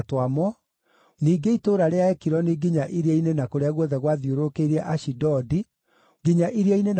ningĩ itũũra rĩa Ekironi, nginya iria-inĩ na kũrĩa guothe gwakuhĩrĩirie Ashidodi, hamwe na tũtũũra twakuo;